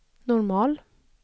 normal